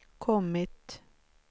kommit